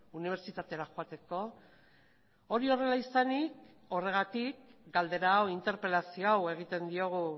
unibertsitatera joateko hori horrela izanik horregatik galdera hau interpelazio hau egiten diogu